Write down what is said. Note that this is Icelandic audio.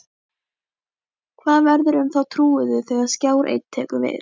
Hvað verður um þá trúuðu þegar Skjár Einn tekur við?